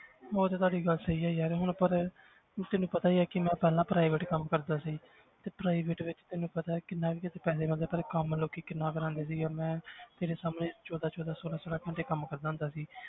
ਉਹ ਤੇ ਤੁਹਾਡੀ ਗੱਲ ਸਹੀ ਹੈ ਯਾਰ ਹੁਣ ਪਰ ਹੁਣ ਤੈਨੂੰ ਪਤਾ ਹੀ ਹੈ ਕਿ ਮੈਂ ਪਹਿਲਾਂ private ਕੰਮ ਕਰਦਾ ਸੀ ਤੇ private ਵਿੱਚ ਤੈਨੂੰ ਪਤਾ ਕਿੰਨਾ ਕੁ ਪੈਸੇ ਬਣਦੇ ਆ ਪਹਿਲਾਂ ਕੰਮ ਲੋਕੀ ਕਿੰਨਾ ਕਰਾਉਂਦੇ ਸੀਗੇ, ਮੈਂ ਤੇਰੇ ਸਾਹਮਣੇ ਚੌਦਾਂ ਚੌਦਾਂ ਛੋਲਾਂ ਛੋਲਾਂ ਘੰਟੇ ਕੰਮ ਕਰਦਾ ਹੁੰਦਾ ਸੀ